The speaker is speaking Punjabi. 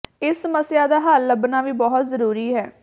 ਇਸ ਸਮੱਸਿਆ ਦਾ ਹੱਲ ਲੱਭਣਾ ਵੀ ਬਹੁਤ ਜ਼ਰੂਰੀ ਹੈ